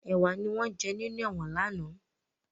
Ẹwà ni wọn jẹ́ nínú ẹ̀wọ̀n lánàá